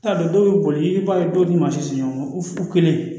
T'a dɔn dɔw bɛ boli i b'a ye dɔw ni masiri ɲɔgɔn